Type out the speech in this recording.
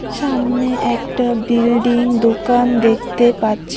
সামনে একটা বিল্ডিং দোকান দেখতে পাচ্ছি।